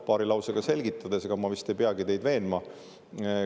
Paari lausega selgitan, ega ma vist ei peagi teid veenma.